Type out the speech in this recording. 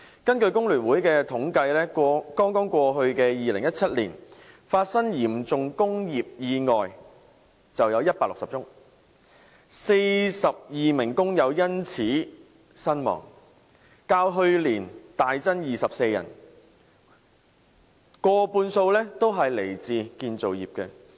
根據工聯會的統計，剛剛過去的2017年，發生嚴重工業意外160宗 ，42 名工人因此身亡，較去年大增24人，過半數來自建造業。